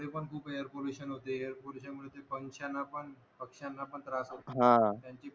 ते पण खूप यार एयर पोलुशन होते एयर पोलुशन मुळे पक्ष्यांना पण त्रास होतो